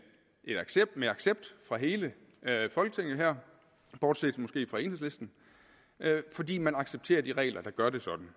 accept fra hele folketinget her bortset måske fra enhedslisten fordi man accepterer de regler der gør det sådan